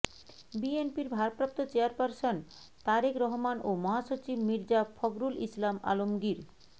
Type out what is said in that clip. বিএনপির ভারপ্রাপ্ত চেয়ারপারসন তারেক রহমান ও মহাসচিব মির্জা ফখরুল ইসলাম আলমগীর